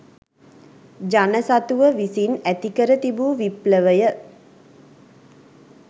ජන සතුව විසින් ඇති කර තිබූ විප්ලවය